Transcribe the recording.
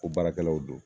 Ko baarakɛlaw don